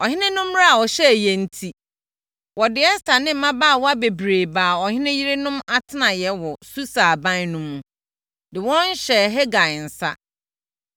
Ɔhene no mmara a ɔhyɛeɛ no enti, wɔde Ɛster ne mmabaawa bebree baa ɔhene yerenom atenaeɛ wɔ Susa aban no mu, de wɔn hyɛɛ Hegai nsa.